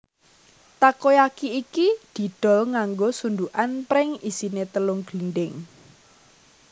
Takoyaki iki didol nganggo sundukan pring isine telung glindhing